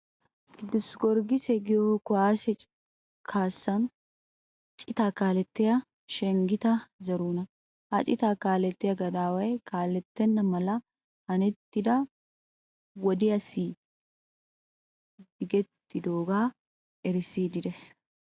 Qidus gorgise giyo kuwaase kaassan citaa kaalettiya shengeta zerihuna. Ha citaa kaalettiya gadaaway kaalettenna mala hanettida wodiyaassi digettidoogaa erissiiddi des.